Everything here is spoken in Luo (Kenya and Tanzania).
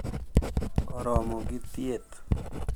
Oromo gi thieth,